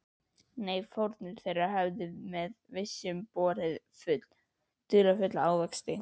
Nei, fórnir þeirra höfðu með vissu borið dularfulla ávexti.